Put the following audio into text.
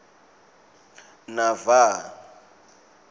nava